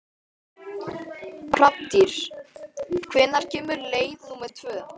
Hrafntýr, hvenær kemur leið númer tvö?